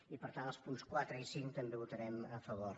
i per tant als punts quatre i cinc també votarem a favor